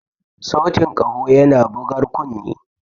Sautin yana bugar kunne.